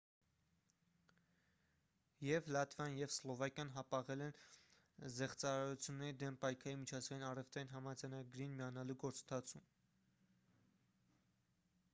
եվ լատվիան և սլովակիան հապաղել են զեղծարարությունների դեմ պայքարի միջազգային առևտրային համաձայնագրին միանալու գործընթացում